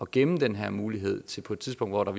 gemme den her mulighed til på et tidspunkt hvor der